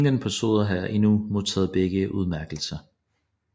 Ingen personer har endnu modtaget begge udmærkelser